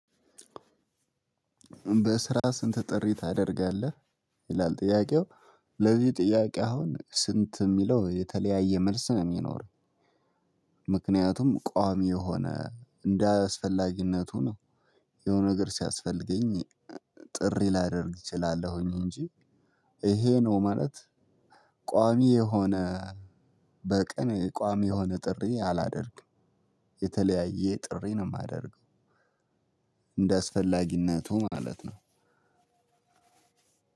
በስራ ስንት ጥሪ ታደርጋለህ? ይላል ጥያቄው ለዚህ ጥያቄ አሁን ስንት የሚለው የተለያየ መልስ ነው የሚኖር። ምክንያቱም ቋሚ የሆነ እንደ አስፈላጊነቱ ነው። የሆነ ነገር ሲያስፈልገኝ ጥሪ ላደርግ እችላለሁኝ እንጂ። ይሄ ነው ማለት ቋሚ የሆነ በቀን ቋሚ የሆነ ጥሪ አላደርግም የተለያየ ጥሪ ነው የማደርገው። እንደ አስፈላጊነቱ ማለት ነው።